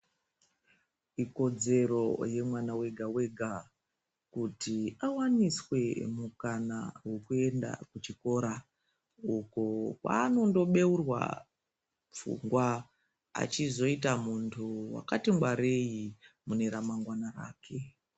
Ikodzero yemwana wega wega kuti awaniswe mukana wekuenda kuchikora uko kwaanondo beurwa pfungwa achizoita muntu wakati ngwarei mune ramangwana rake.